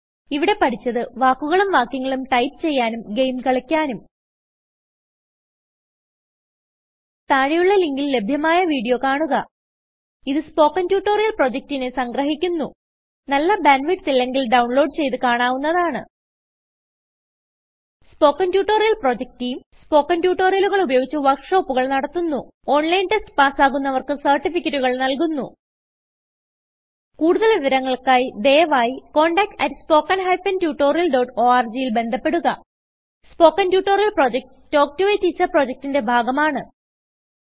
ഇവിടെ പഠിച്ചത്വാക്കുകളും വാക്യങ്ങളും ടൈപ്പ് ചെയ്യാനും ഗെയിം കളിക്കാനും താഴെയുള്ള ലിങ്കിൽ ലഭ്യമായ വീഡിയോ കാണുക ഇതു സ്പോകെൻ ട്യൂട്ടോറിയൽ പ്രൊജക്റ്റിനെ സംഗ്രഹിക്കുന്നു നല്ല ബാൻഡ് വിഡ്ത്ത് ഇല്ലെങ്കിൽ ഡൌൺലോഡ് ചെയ്ത് കാണാവുന്നതാണ് spoken tutorial project team spoken ട്യൂട്ടോറിയലുകൾ ഉപയോഗിച്ച് വർക്ക് ഷോപ്പുകൾ നടത്തുന്നു ഓൺലൈൻ ടെസ്റ്റ് പാസ്സാകുന്നവർക്ക് സർട്ടിഫികറ്റുകൾ നല്കുന്നു കുടുതൽ വിവരങ്ങൾക്കായി ദയവായിcontact at spoken hyphen tutorial dot orgൽ ബന്ധപ്പെടുക spoken tutorial project talk to a teacher പ്രൊജക്റ്റ്ന്റെ ഭാഗമാണ്